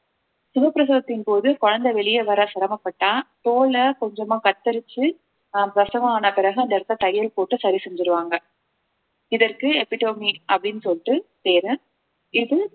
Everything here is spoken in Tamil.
சுகப்பிரசவத்தின் போது குழந்தை வெளியே வர சிரமப்பட்டால் தோலை கொஞ்சமா கத்தரிச்சு அஹ் பிரசவம் ஆன பிறகு அந்த இடத்தை தையல் போட்டு சரி செஞ்சிருவாங்க இதற்கு epidomy அப்படின்னு சொல்லிட்டு பேரு இது